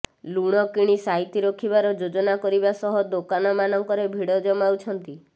ଲୁଣ କିଣି ସାଇତି ରଖିବାର ଯୋଜନା କରିବା ସହ ଦୋକାନମାନଙ୍କରେ ଭିଡ ଜମାଉଛନ୍ତି